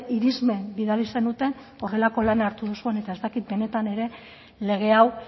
irismen bidali zenuten horrelako lana hartu duzuen eta ez dakit benetan ere lege hau